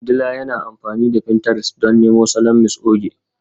Dila yana amfani da pinterest don nemo salon Mrs Oge